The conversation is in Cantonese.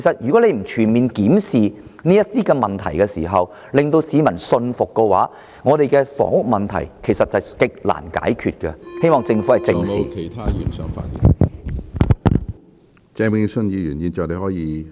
如政府不全面檢視這些問題時，讓市民信服的話，那麼我們的房屋問題是極難解決的，我希望政府正視這些問題。